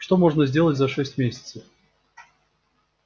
что можно сделать за шесть месяцев